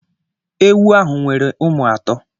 Ewu ahu nwere ụmụ atọ